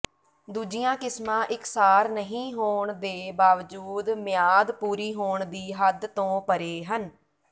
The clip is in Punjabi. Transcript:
ਦੂਜੀਆਂ ਕਿਸਮਾਂ ਇਕਸਾਰ ਨਹੀਂ ਹੋਣ ਦੇ ਬਾਵਜੂਦ ਮਿਆਦ ਪੂਰੀ ਹੋਣ ਦੀ ਹੱਦ ਤੋਂ ਪਰ੍ਹੇ ਹਨ